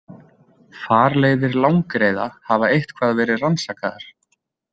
Farleiðir langreyða hafa eitthvað verið rannsakaðar.